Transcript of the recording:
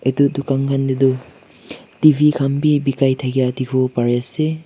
itu dukan khan dedu T_V khan bi bikai thakia dikhwo parey ase.